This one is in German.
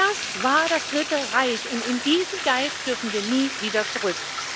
Das war das Dritte Reich, und in diesen Geist dürfen wir nie wieder zurück.